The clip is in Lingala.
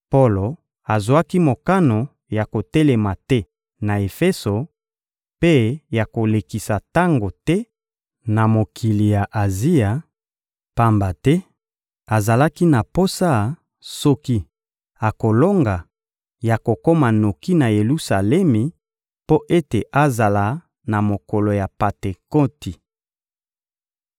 Polo azwaki mokano ya kotelema te na Efeso mpe ya kolekisa tango te na mokili ya Azia, pamba te azalaki na posa, soki akolonga, ya kokoma noki na Yelusalemi mpo ete azala na mokolo ya Pantekoti.